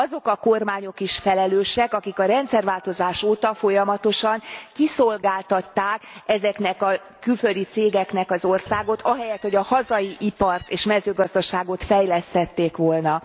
Azok a kormányok is felelősek, akik a rendszerváltozás óta folyamatosan kiszolgáltatták ezeknek a külföldi cégeknek az országot ahelyett, hogy a hazai ipart és mezőgazdaságot fejlesztették volna.